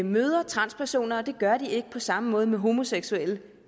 møder transpersoner og det gør de ikke på samme måde med homoseksuelle